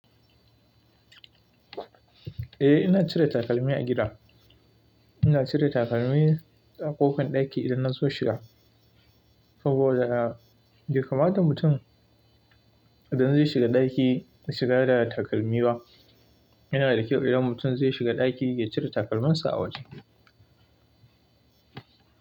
Eh ina cire takalmi a gida. Ina cire takalmi a ƙofar ɗaki idan na zo shiga, saboda bai kamata mutum idan zai shiga ɗaki ya shiga da takalmi ba. Yana da kyau idan mutum zai shiga ɗaki ya cire takalminsa a waje.